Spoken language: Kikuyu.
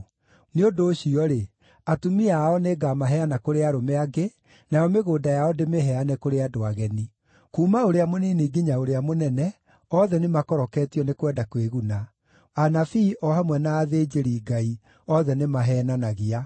Nĩ ũndũ ũcio-rĩ, atumia ao nĩngamaheana kũrĩ arũme angĩ, nayo mĩgũnda yao ndĩmĩheane kũrĩ andũ ageni. Kuuma ũrĩa mũnini nginya ũrĩa mũnene, othe nĩmakoroketio nĩ kwenda kwĩguna; anabii o hamwe na athĩnjĩri-Ngai, othe nĩmaheenanagia.